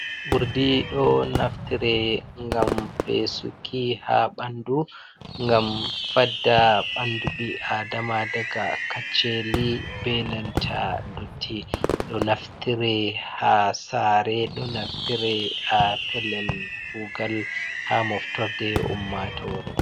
Urdi ɗo naftire ngam fesuki haa ɓandu, ngam fadda ɓandu ɓii adama daga kacceli, benanta dotti. Ɗo naftire haa saare, ɗo naftire haa pellel kuugal, haa moftorde ummatoore.